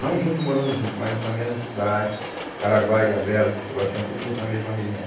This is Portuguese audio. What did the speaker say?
Não morando junto, mas na mesma cidade, Caraguá, Ilhabela, São Sebastião, tudo na mesma região.